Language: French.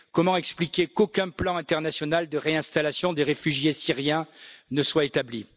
Comment expliquer qu'aucun plan international de réinstallation des réfugiés syriens ne soit établi?!